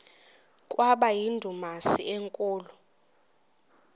kwaba yindumasi enkulu